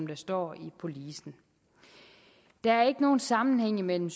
der står i policen der er ikke nogen sammenhæng mellem